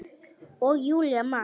Og Júlía man.